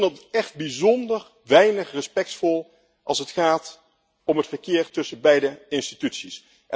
Want ik vind dat echt bijzonder weinig respectvol als het gaat om het verkeer tussen beide instituties.